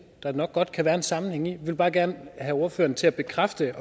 nok der kan være en sammenhæng i jeg vil bare gerne have ordføreren til at bekræfte at